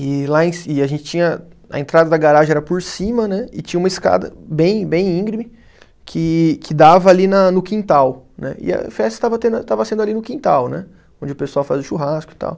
E lá em ci, e a gente tinha, a entrada da garagem era por cima, né, e tinha uma escada bem bem íngreme que que dava ali no quintal, né, e a festa estava tendo a, estava sendo ali no quintal, né, onde o pessoal fazia o churrasco e tal.